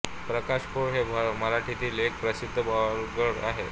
प्रकाश पोळ हे मराठीतील एक प्रसिद्ध ब्लॉगर आहेत